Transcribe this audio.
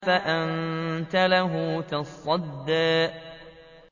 فَأَنتَ لَهُ تَصَدَّىٰ